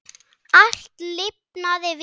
Allt lifnaði við.